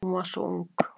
Hún var svo ung.